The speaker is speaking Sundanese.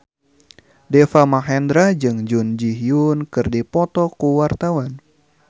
Deva Mahendra jeung Jun Ji Hyun keur dipoto ku wartawan